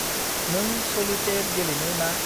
नों स'लितैर गेलेनो ना?